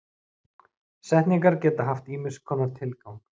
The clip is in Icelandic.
Setningar geta haft ýmiss konar tilgang.